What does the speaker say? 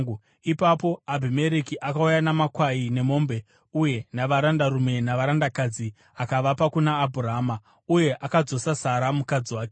Ipapo Abhimereki akauya namakwai nemombe uye navarandarume navarandakadzi akavapa kuna Abhurahama, uye akadzosa Sara mukadzi wake.